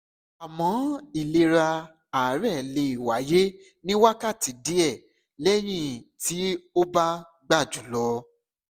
àmọ́ ìlara àárẹ̀ lè wáyé ní wákàtí díẹ̀ lẹ́yìn tí o bá gba jù lọ